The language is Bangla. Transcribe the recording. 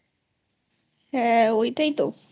হ্যা ঐটাই তোI